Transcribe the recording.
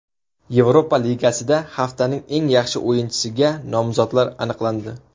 Yevropa Ligasida haftaning eng yaxshi o‘yinchisiga nomzodlar aniqlandi.